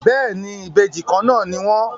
Béèni, Ìbejì Kànnà ní wón.